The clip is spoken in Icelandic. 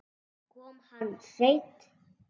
Kom hann seint?